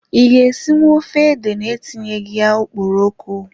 I ga-esinwu ofe ede na etinyeghi ya okporoko?